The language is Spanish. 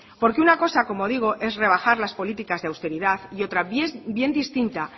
porque una cosa como digo es rebajar las políticas de austeridad y otra bien distinta